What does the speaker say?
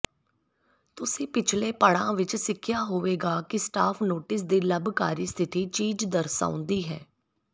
ਤੁਸੀਂ ਪਿਛਲੇ ਪੜਾਅ ਵਿਚ ਸਿੱਖਿਆ ਹੋਵੇਗਾ ਕਿ ਸਟਾਫ ਨੋਟਿਸ ਦੀ ਲੰਬਕਾਰੀ ਸਥਿਤੀ ਪੀਚ ਦਰਸਾਉਂਦੀ ਹੈ